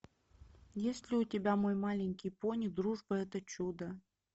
есть ли у тебя мой маленький пони дружба это чудо